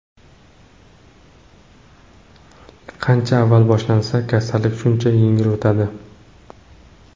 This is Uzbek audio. Qancha avval boshlansa, kasallik shuncha yengil o‘tadi.